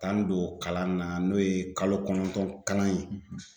T'an don kalan na n'o ye kalo kɔnɔntɔn kalan ye